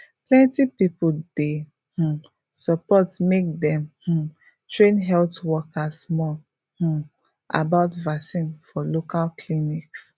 plenty people dey um support make dem um train health workers more um about vaccine for local clinics